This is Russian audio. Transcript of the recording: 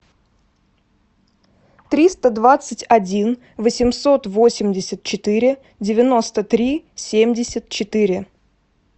триста двадцать один восемьсот восемьдесят четыре девяносто три семьдесят четыре